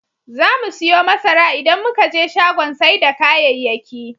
Zamu siyo masara idan muka je shagon sai da kayayyaki.